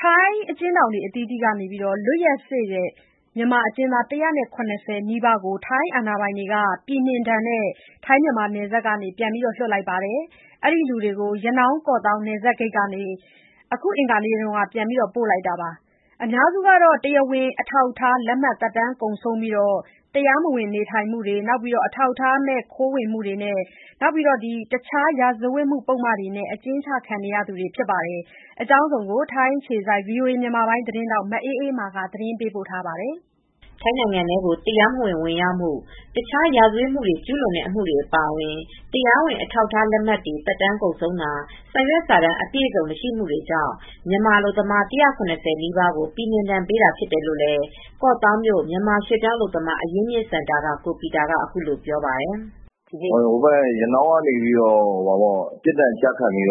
ထိုင်းအကျဉ်းထောင်တွေအတွင်းက လွတ်ရက်စေ့နေတဲ့ မြန်မာအကျဉ်းသား ၁၇၀ နီးပါးကို ထိုင်းအာဏာပိုင်တွေက ပြည်နှင်ဒဏ်နဲ့ နယ်စပ်ကနေ ပြန်လွှတ်လိုက်ပါတယ်။ အဲဒီလူတွေကို ရနောင်း-ကော့သောင်း နယ်စပ်ဂိတ်ကနေ အခု အင်္ဂါနေ့မှာ ပြန်ပို့လိုက်တာပါ။ အများစုက တရားဝင်အထောက်အထားလက်မှတ် သက်တမ်းကုန် ဆုံးပြီး တရားမဝင်နေထိုင်မှုနဲ့ အထောက်အထားမဲ့ ခိုးဝင်မှုအပြင် တခြား ရာဇဝတ်မှုပုဒ်မတွေနဲ့ အကျဉ်းချခံရသူတွေဖြစ်ကြပါတယ်။ ဒီအကြောင်း ထိုင်းအခြေစိုက်သတင်းထောက် မအေးအေးမာ သတင်းပေးပို့ထားပါတယ်။ ထိုင်းနိုင်ငံထဲကို တရားမဝင် ဝင်ရောက်မှုနဲ့ တခြားရာဇဝတ်မှုတွေ ကျုးလွန်တာတွေအပါအဝင် တရားဝင် အထောက်အထားလက်မှတ် သက်တမ်းကုန်ဆုံးတာ၊ လိုအပ်တဲ့စာရွက်စာတမ်းအပြည့်အစုံမရှိတညတွေကြောင့် မြန်မာအလုပ်သမား ၁၇၀ နီးပါးကို ပြည်နှင်ဒဏ်ပေးတာဖြစ်တယ်လို့ ကော့သောင်းမြို့ မြန်မာရွှေ့ပြောင်းအလုပ်သမား အရင်းအမြစ်စင်တာက ကိုပီတာက အခုလိုပြောပါတယ်။ “ရနောင်းကနေ ပြစ်ဒဏ်ကျခံပြီး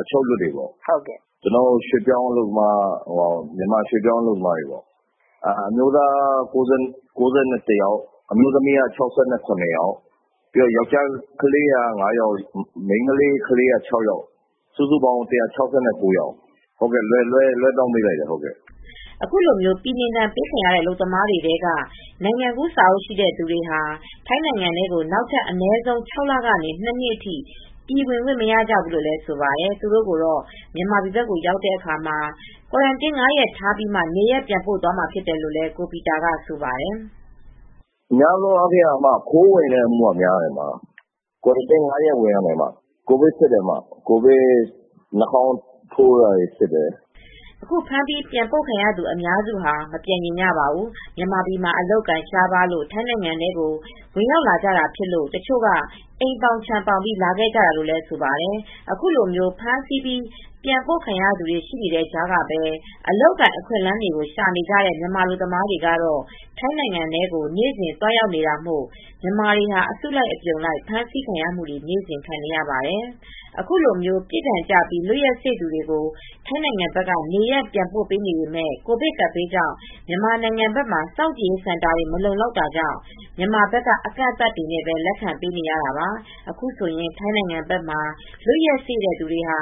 အချုပ်ကနေလွတ်လာသူတွေပါ။ မြန်မာရွှေ့ပြောင်းအလုပ်သမားတွေပေါ့။ အမျိုးသားက ၉၁ ယောက်၊ အမျိုးသမီးက ၆၇ ယောက်ပါ။ ယောက်ကျားလေးကလေးက ၅ ယောက်၊ မိန်းကလေး ကလေးက ၆ ယောက်၊ စုစုပေါင်း ၁၆၉ ယောက်လွှဲပြောင်းပေးလိုက်တာပါ။” အခုလို ပြည်နှင်ဒဏ်ပေးခံရတဲ့ အလုပ်သမားတွေထဲက နိုင်ငံကူးစာအုပ်ရှိတဲ့သူတွေဟာ ထိုင်းနိုင်ငံထဲကို နောက်ထပ် အနည်းဆုံး ၆ လ ကနေ ၂ နှစ်ထိ ပြန်ဝင်ခွင့်မရကြဘူးလို့ ဆိုပါတယ်။သူတို့ကိုတော့ မြန်မာဘက်ကိုရောက်တဲ့အခါမှာ ကွာရမ်တင်း ၅ ရက်ထားပြီးမှ နေရပ် ပြန်ပို့သွားမှာဖြစ်တယ်လို့လည်း ကိုပီတာကဆိုပါတယ်။ “များသောအားဖြင့် ခိုးဝင်တဲ့အမှုကများပါတယ်။ ကွာရမ်တင်း ၅ ရက် ဝင်ရပါမယ်။ ကိုဗစ် စစ်ဆေးပါတယ်။ နှာခေါင်းကို ထိုးပြီး စစ်ပါတယ်။” အခု ဖမ်းပြီး ပြန်ပို့ခံရတဲ့သူတွေက အများစုက မပြန်ချင်ကြပါဘူး။ မြန်မာပြည်မှာ အလုပ်အကိုင်ရှားပါးလို့ ထိုင်းနိုင်ငံထဲကို ဝင်ရောက်လာကြတာဖြစ်ပြီး တချို့က အိမ်ပေါင် ခြံပေါင်ပြီး လာခဲ့ကြတာလို့ ဆိုပါတယ်။ အခုလို ဖမ်းဆီးပြီး ပြန်ပို့ခံရတာတွေ ရှိနေသလို တဘက်မှာလည်း အလုပ်အကိုင် အခွင့်အလမ်းရှာနေကြတဲ့ မြန်မာအလုပ်သမားတွေကတော့ ထိုင်းနိုင်ငံထဲကို နေ့စဉ် သွားရောက်နေတာမို့ အစုလိုက် အပြုံလိုက် ဖမ်းဆီးခံနေရတာတွေကလည်း နေ့ဆက်ဆိုသလို ရှိနေတာပါ။ အခုလို ပြစ်ဒဏ်ကျပြီး လွတ်ရက်စေ့သူတွေကို ထိုင်းဘက်က နေရပ်ပြန်ပို့နေပေမယ့် မြန်မာနိုင်ငံဘက်မှာ ကိုဗစ်ကပ်ဘေး စောင့်ကြည့်ရေးစင်တာတွေ မလုံလောက် တာကြောင့် မြန်မာဘက်က အကန့်အသတ်နဲ့ပဲလက်ခံပေးနေတာပါ။ အခုဆိုရင် ထိုင်းနိုင်ငံဘက်မှာ လွတ်ရက်စေ့နေသူတွေဟာ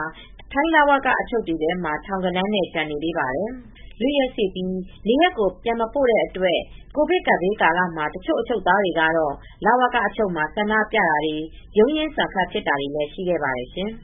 ထိုင်းလဝက အချုပ်တွေထဲမှာ ထောင်ဂဏန်းနဲ့ ချီပြီး ကျန်နေသေးပါတယ် ။ လွတ်ရက်စေ့ပြီး နေရပ်ကို ပြန်မပို့တဲ့အတွက် ထိုင်း လဝကအချုပ်မှာ တချို့အချုပ်သားတွေက ဆန္ဒပြတာတွေနဲ့ ရုန်းရင်းဆန်ခတ်ဖြစ်တာတွေလည်းရှိခဲ့ပါတယ်ရှင်။